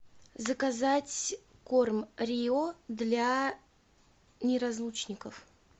заказать корм рио для неразлучников